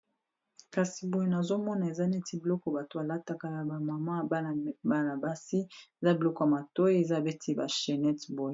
Kasi boye nazomona eza neti biloko bato balataka ya ba mama bana basi eza biloko ya matoyi eza beti ba chenette boye.